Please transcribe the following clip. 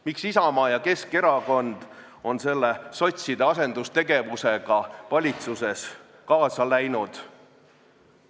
Miks Isamaa ja Keskerakond on selle sotside asendustegevusega valitsuses kaasa läinud?